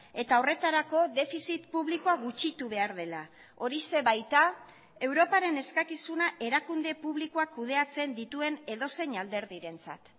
eta horretarako defizit publikoa gutxitu behar dela horixe baita europaren eskakizuna erakunde publikoak kudeatzen dituen edozein alderdirentzat